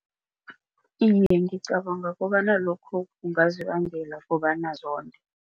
Iye, ngicabanga kobana lokho kungazibangela kobana zonde.